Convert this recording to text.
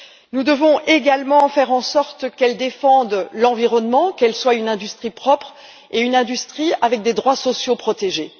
Nous devons également faire en sorte qu'elle défende l'environnement, qu'elle soit une industrie propre et une industrie avec des droits sociaux protégés.